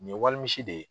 Nin ye walimisi de ye